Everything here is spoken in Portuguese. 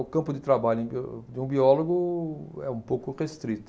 O campo de trabalho em bio de um biólogo é um pouco restrito.